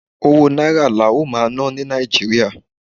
owó náírà la ó ma ná ni Naijiria